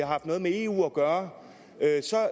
haft noget med eu at gøre